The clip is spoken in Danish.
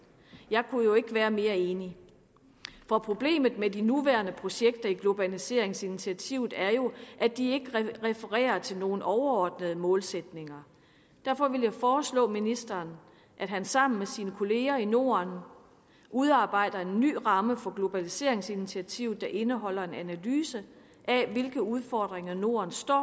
jeg kunne ikke være mere enig for problemet med de nuværende projekter i globaliseringsinitiativet er jo at de ikke refererer til nogen overordnede målsætninger derfor vil jeg foreslå ministeren at han sammen med sine kollegaer i norden udarbejder en ny ramme for globaliseringsinitiativet der indeholder en analyse af hvilke udfordringer norden står